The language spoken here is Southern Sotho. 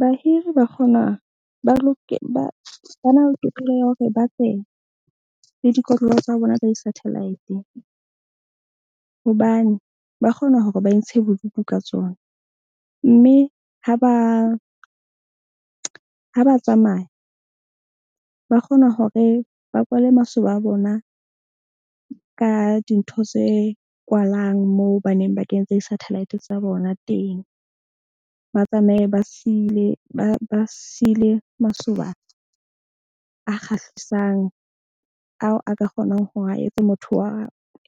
Bahiri ba kgona ba na le tokelo ya hore ba tle le dikotlolo tsa bona tsa di-satellite. Hobane ba kgona hore ba intshe bodutu ka tsona. Mme ha ba tsamaya, ba kgona hore ba kwale masoba a bona ka dintho tse kwalang moo baneng ba kentse sathalaete tsa bona teng. Ba tsamaye ba siile masoba a kgahlisang ao a ka kgonang hore a etse motho wa